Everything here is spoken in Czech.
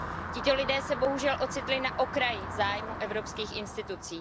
Tito lidé se bohužel ocitli na okraji zájmu evropských institucí.